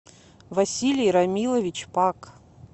василий рамилович пак